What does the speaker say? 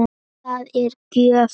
Það er gjöf.